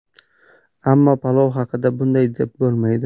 Ammo palov haqida bunday deb bo‘lmaydi.